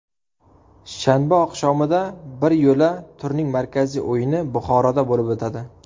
Shanba oqshomida biryo‘la turning markaziy o‘yini Buxoroda bo‘lib o‘tadi.